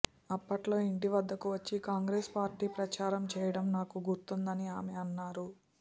అప్పట్లో ఇంటి వద్దకు వచ్చి కాంగ్రెస్ పార్టీ ప్రచారం చేయడం నాకు గుర్తుందని ఆమె అన్నారు